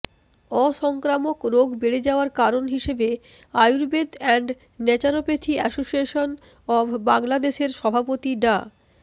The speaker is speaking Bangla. অসংক্রামক রোগ বেড়ে যাওয়ার কারণ হিসেবে Ayurveda and naturopathy association of বাংলাদেশের সভাপতি ডা